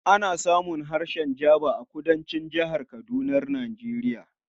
Ana samun harshen Jaba a Kudancin Jihar Kadunar Nijeriya